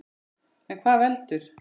En hvað veldur?